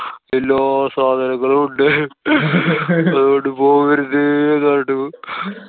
എല്ലാ സാധനങ്ങളും ഉണ്ട് അതോണ്ട് പോവരുത്~ ന്നു പറഞ്ഞിട്ട്